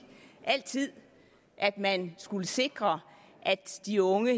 at man skulle sikre at de unge